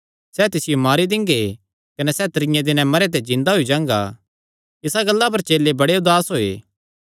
सैह़ तिसियो मारी दिंगे कने सैह़ त्रीये दिनैं जिन्दा होई जांगा इसा गल्ला पर चेले बड़े उदास होये